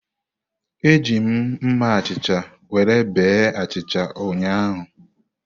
Eji m mma achicha were bee achịcha ụnyahụ.